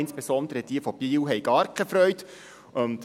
Besonders jene von Biel haben gar keine Freude.